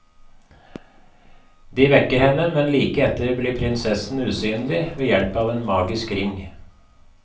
De vekker henne, men like etter blir prinsessen usynlig ved hjelp av en magisk ring.